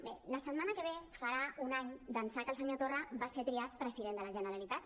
bé la setmana que ve farà un any d’ençà que el senyor torra va ser triat president de la generalitat